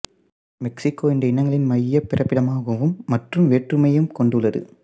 Mexico இந்த இனங்களின் மையப் பிறப்பிடமாகவும் மற்றும் வேற்றுமையையும் கொண்டுள்ளது